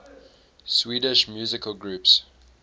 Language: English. swedish musical groups